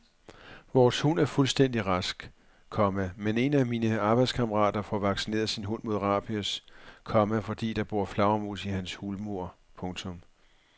Vores hund er fuldstændig rask, komma men en af mine arbejdskammerater får vaccineret sin hund mod rabies, komma fordi der bor flagermus i hans hulmur. punktum